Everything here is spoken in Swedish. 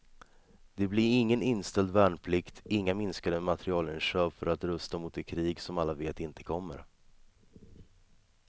Det blir ingen inställd värnplikt, inga minskade materielinköp för att rusta mot det krig som alla vet inte kommer.